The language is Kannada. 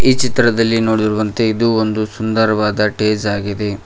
ಈ ಚಿತ್ರದಲ್ಲಿ ನೋಡಿರುವಂತೆ ಇದು ಒಂದು ಸುಂದರವಾದ ಸ್ಟೇಜ್ ಆಗಿದೆ.